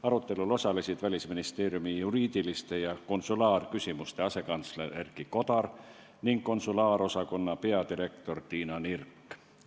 Arutelul osalesid Välisministeeriumi juriidiliste ja konsulaarküsimuste asekantsler Erki Kodar ning konsulaarosakonna peadirektor Tiina Nirk.